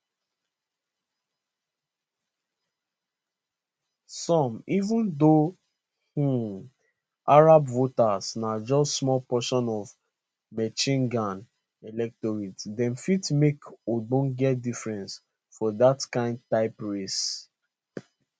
so even though um arab voters na just small portion of michigan electorate dem fit make ogbonge difference for dat kain type race